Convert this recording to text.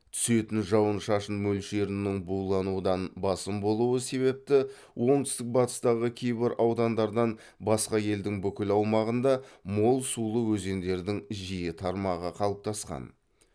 түсетін жауын шашын мөлшерінің буланудан басым болуы себепті оңт батыстағы кейбір аудандардан басқа елдің бүкіл аумағында мол сулы өзендердің жиі тармағы қалыптасқан